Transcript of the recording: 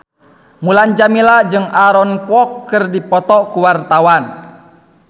Mulan Jameela jeung Aaron Kwok keur dipoto ku wartawan